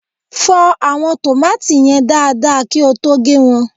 fọ àwọn tòmátì yen dada kí o tó gé won